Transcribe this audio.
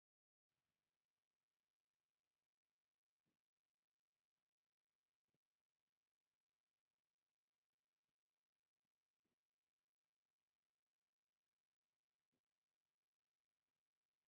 እዚ ናይ መስተዓጠቒ ስረ መስርሒ ቦታ እዩ፡፡ ኣብዚ ቦታ ብዙሓት መስተዓጠቒ ተሰሪሖም ተንጠልጢሎም እኔዉ፡፡ ቀዳሞት መስተዓጠቒ ካብ ምንታይ ይሰርሑ ነይሮም?